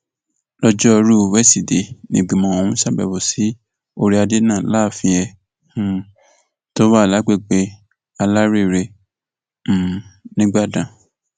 lójórùú wesidee nígbìmọ ọhún ṣàbẹwò sí orí adé náà láàfin ẹ um tó wà lágbègbè alárèrè um nìgbàdàn